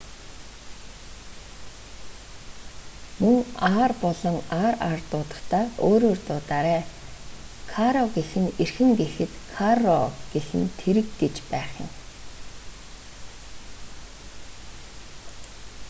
мөн r болон rr дуудахдаа өөрөөр дуудаарай caro гэх нь эрхэм гэхэд carro гэх нь тэрэг гэж байх юм